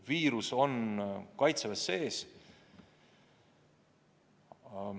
Viirus on Kaitseväes sees.